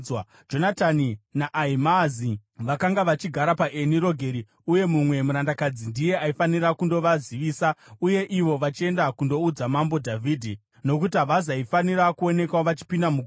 Jonatani naAhimaazi vakanga vachigara paEni Rogeri uye mumwe murandakadzi ndiye aifanira kundovazivisa, uye ivo vachienda kundoudza Mambo Dhavhidhi, nokuti havazaifanira kuonekwa vachipinda muguta.